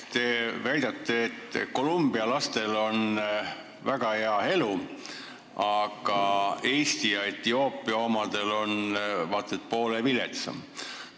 Te väidate, et Colombia lastel on väga hea elu, aga Eesti ja Etioopia omadel vaat et poole viletsam.